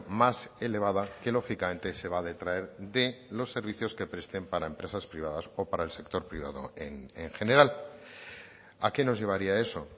más elevada que lógicamente se va a detraer de los servicios que presten para empresas privadas o para el sector privado en general a qué nos llevaría eso